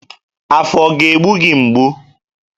Afọ ọ ga-egbu gị mgbu?